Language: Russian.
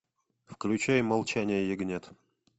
включай молчание ягнят